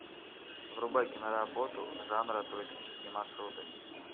врубай киноработу жанра туристические маршруты